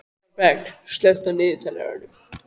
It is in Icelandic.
Þorberg, slökktu á niðurteljaranum.